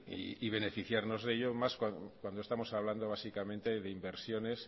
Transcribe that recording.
y beneficiarnos de ellos más cuando estamos hablando básicamente de inversiones